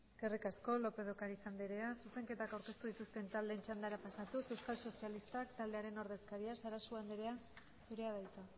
eskerrik asko lópez de ocariz andrea zuzenketak aurkeztu dituzten taldeen txandara pasatuz euskal sozialistak taldearen ordezkaria sarasua andrea zurea da hitza